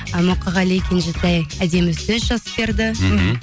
ы мұқағали кенжетай әдемі сөз жазып берді мхм